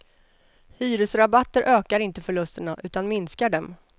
Hyresrabatter ökar inte förlusterna, utan minskar dem.